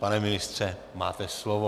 Pane ministře, máte slovo.